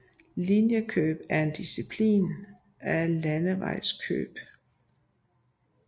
Linjeløb er en disciplin af landevejsløb